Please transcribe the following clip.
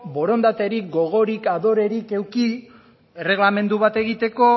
borondaterik gogorik adorerik eduki erregelamendu bat egiteko